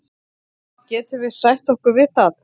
Getum við sætt okkur við það?